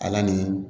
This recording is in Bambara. Ala ni